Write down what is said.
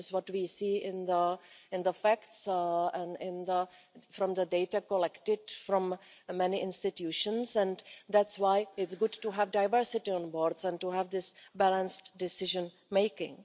this is what we see in the facts and from the data collected from many institutions and that's why it's good to have diversity on boards and to have this balanced decision making.